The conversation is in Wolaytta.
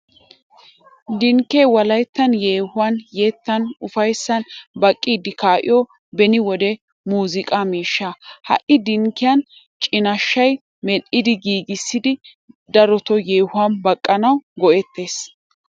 Dinkke wolayttan yeehuwan, yettan, ufayssani baqqiddi kaa'iyo beni wode muuziqa miishsha. Ha dinkkiya cinnashshay medhdhi giiggissiddi darotti yeehuwan baqqanawu go'etees.